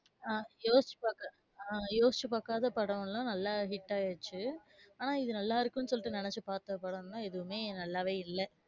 ஆஹ் யோசிச்சு பாக்காத, ஆஹ் யோசிச்சு பாக்காத படம் எல்லாம் நல்லா hit ஆகிருச்சு. ஆனா இது நல்லா இருக்கும்னு நினச்சு பாத்த படம் எல்லாம் எதுவுமே நல்லாவே இல்ல.